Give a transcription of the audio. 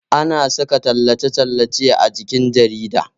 Ana saka tallace-tallace a jikin jarida